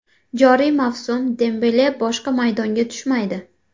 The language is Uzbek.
Joriy mavsum Dembele boshqa maydonga tushmaydi.